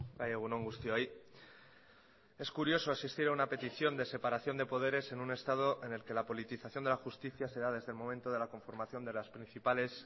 bai egun on guztioi es curioso asistir a una petición de separación de poderes en un estado en el que la politización de la justicia se da desde el momento de la conformación de las principales